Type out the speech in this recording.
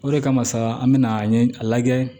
O de kama sa an bɛna an ye a lajɛ